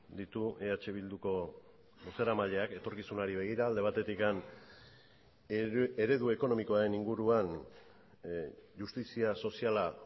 ditu eh bilduko bozeramaileak etorkizunari begira alde batetik eredu ekonomikoaren inguruan justizia soziala